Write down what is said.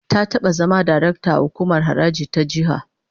Ta taba zama darakta a hukumar haraji ta jiha